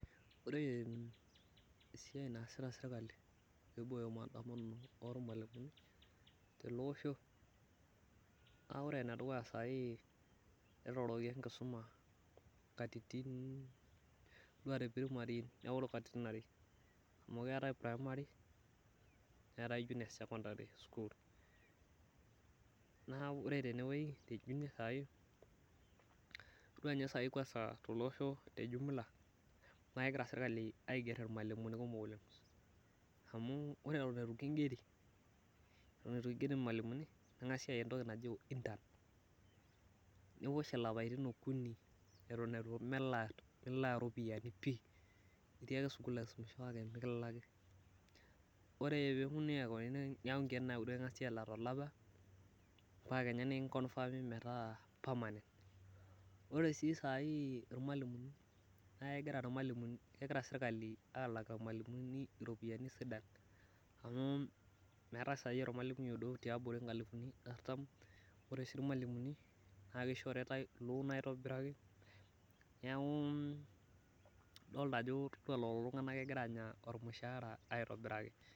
Ore esiai naasita sirkali pee eiboyo maandamano ormalimuni tele Osho, naa ore endukuya saai netooroki enkisuma ,ore teprimaty eoro katitin are .Amu keetae primary. neetae junior secondary school. Neeku ore ninye eneweji tejunior saai, ore ninye tele osho tejumla, naa kegira sirkali aiger irmalimuni kumok oleng. Amu ore etion eitu kingeri negative aya entoki naji intern. Niwosh lapaitin okuni eton melaa ropiyiani pi ,itii ake sukul kake mikilaki. Nengasi aaku nkeek uni kingasi alak tolapa, mpaka kenya nikinkofermi itaa permanent. Ore sii saai naa kegira sirkali alak irmalimuni iropiyiani sidan ,amu meetae saai ormalimui odou tiabori nkalifuni artam, ore sii irmalimuni, naa keishoritae loon aitobiraki .Neeku idolita ajo todua ololulunga naa kegira aanya ormushaara aitobiraki.